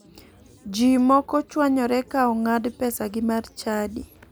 Ji moko chwanyore ka ong'ad pesagi mar chadi.